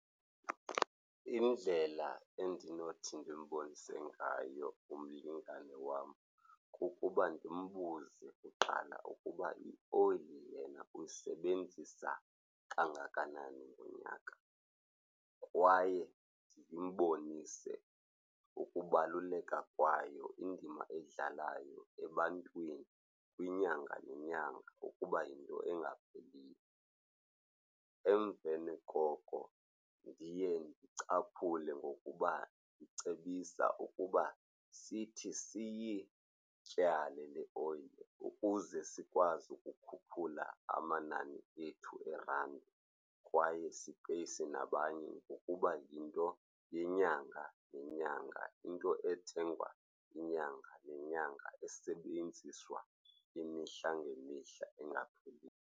Indlela endinothi ndimbonise ngayo umlingane wam kukuba ndimbuze kuqala ukuba ioyili lena uyisebenzisa kangakanani ngonyaka. Kwaye ndimbonise ukubaluleka kwayo, indima eyidlalayo ebantwini kwinyanga nenyanga ukuba yinto engapheliyo. Emveni koko ndiye ndicaphule ngokuba ndicebisa ukuba sithi siyityale le oyile ukuze sikwazi ukukhuphula amanani ethu eerandi kwaye sipeyise nabanye ngokuba yinto yenyanga nenyanga. Into ethengwa inyanga nenyanga, esebenziswa imihla ngemihla, engapheliyo.